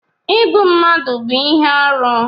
Ịgbụ mmadụ bú ihe arụ